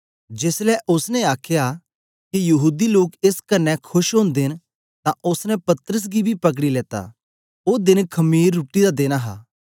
जेसलै ओसने दिखया के यहूदी लोग एस कन्ने खोश ओदे न तां ओसने पतरस गी बी पकड़ी लेता ओ देन खमीर रुट्टी देन हे